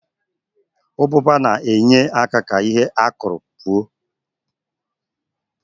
Ụbụba na-enye aka ka ihe a kụrụ buo